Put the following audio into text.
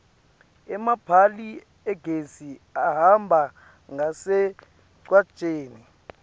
emapali agesi ahamba ngasemgwaceni